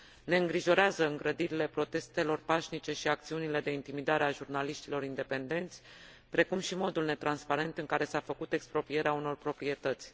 Ne îngrijorează îngrădirile protestelor pașnice și acțiunile de intimidare a jurnaliștilor independenți, precum și modul netransparent în care s a făcut exproprierea unor proprietăți.